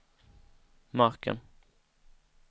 marken